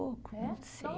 pouco, não sei.